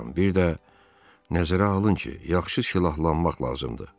Bir də nəzərə alın ki, yaxşı silahlanmaq lazımdır.